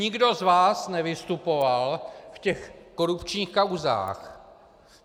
Nikdo z vás nevystupoval v těch korupčních kauzách.